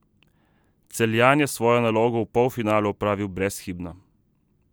Celjan je svojo nalogo v polfinalu opravil brezhibno.